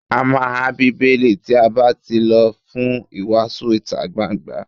A má há Bíbélì tí a bá tí lọ fún ìwàásù ìtagbangba.